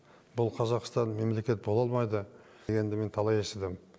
бұл қазақстан мемлекет бола алмайды дегенді мен талай естідім